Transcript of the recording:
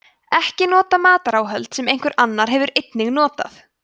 ekki nota mataráhöld sem einhver annar hefur einnig notað